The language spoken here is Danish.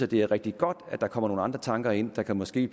det er rigtig godt at der kommer nogle andre tanker ind der måske